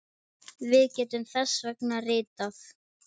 Við getum þess vegna ritað